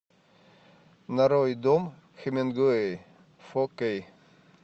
нарой дом хемингуэй фо кей